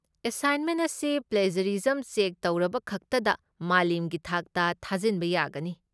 Assignment ꯑꯁꯤ plagiarism check ꯇꯧꯔꯕꯈꯛꯇꯗ ꯃꯥꯂꯦꯝꯒꯤ ꯊꯥꯛꯇ ꯊꯥꯖꯤꯟꯕ ꯌꯥꯒꯅꯤ꯫